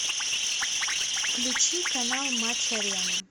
включи канал матч арена